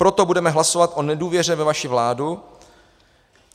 Proto budeme hlasovat o nedůvěře ve vaši vládu.